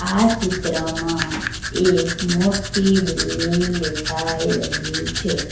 આ ચિત્રમાં એક મોટી બિલ્ડીંગ દેખાઈ રહી છે.